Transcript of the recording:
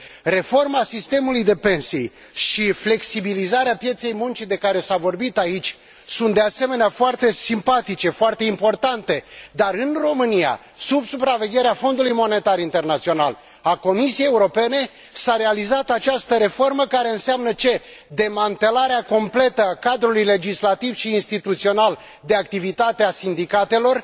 Reforma sistemului de pensii și flexibilizarea pieței muncii de care s a vorbit aici sunt, de asemenea, foarte simpatice, foarte importante, dar, în România, sub supravegherea Fondului Monetar Internațional și a Comisiei Europene, s a realizat această reformă, care înseamnă ce demantelarea completă a cadrului legislativ și instituțional de activitate a sindicatelor,